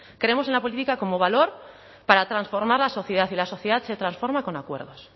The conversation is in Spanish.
creemos en la política como valor para transformar la sociedad y la sociedad se transforma con acuerdos